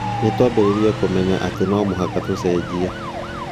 Nĩ twambĩrĩirie kũmenya atĩ no mũhaka tũcenjie.